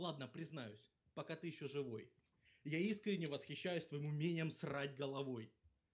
ладно признаюсь пока ты ещё живой я искренне восхищаюсь твоим умением срать головой